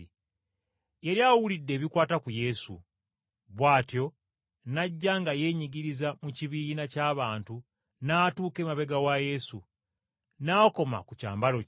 Yali awulidde ebikwata ku Yesu. Bw’atyo n’ajja nga yeenyigiriza mu kibiina ky’abantu n’atuuka emabega wa Yesu, n’akoma ku kyambalo kye.